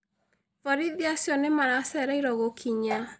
Borithi acio nĩ maracereirwo gũkinya.